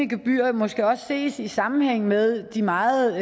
gebyrer måske også ses i sammenhæng med de meget